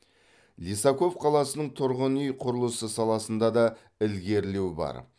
лисаков қаласының тұрғын үй құрылысы саласында да ілгерілеу бар